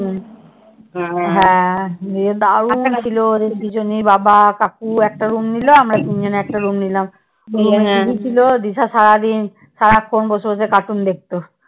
হ্যাঁ দিয়ে দারুন ছিল দুজনে বাবা কাকু একটা Room নিল আমরা তিনজনে একটা Room নিলাম। TV ছিল দিশা সারাদিন সারাক্ষণ বসে বসে cartoon দেখতো।